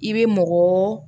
I bɛ mɔgɔ